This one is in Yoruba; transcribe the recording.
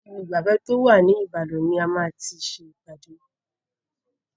Ibi ìgbafẹ́ tó wà ní Ìbàdàn ni a ma ti ṣe ìpàdé.